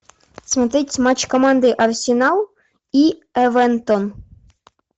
смотреть матч команды арсенал и эвертон